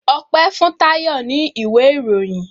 Ope fun Tayo ní ìwé ìròyìn